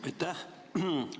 Aitäh!